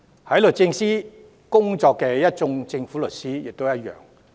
在律政司工作的一眾政府律師亦然。